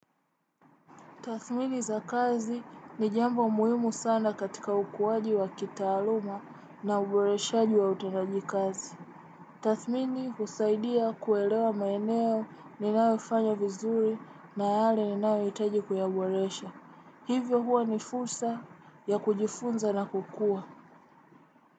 Tathmini za kazi ni jambo muhimu sana katika ukuwaji wa kita aluma na uboreshi juwa utanaji kazi. Tathmini usaidia kuelewa maeneo ni ninaofanya vizuri na hali ni nawe itaji kuyaboresha. Hivyo huwa ni fursa ya kujifunza na kukua.